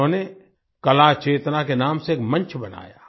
उन्होंने कला चेतना के नाम से एक मंच बनाया